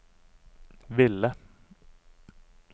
ville